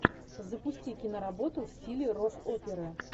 запусти киноработу в стиле рок оперы